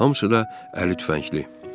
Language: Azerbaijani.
Hamısı da əli tüfəngli.